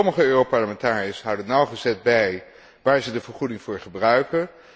Sommige Europarlementariërs houden nauwgezet bij waar zij de vergoeding voor gebruiken.